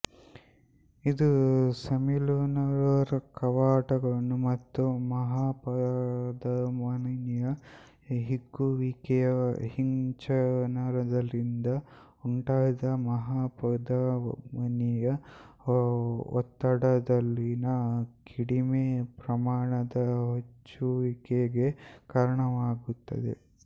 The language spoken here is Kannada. ಇದು ಸೆಮಿಲ್ಯುನರ್ ಕವಾಟಗಳು ಮತ್ತು ಮಹಾಪಧಮನಿಯ ಹಿಗ್ಗುವಿಕೆಯ ಹಿಂಚಲನದಿಂದ ಉಂಟಾದ ಮಹಾಪಧಮನಿಯ ಒತ್ತಡದಲ್ಲಿನ ಕಡಿಮೆ ಪ್ರಮಾಣದ ಹೆಚ್ಚುವಿಕೆಗೆ ಕಾರಣವಾಗುತ್ತದೆ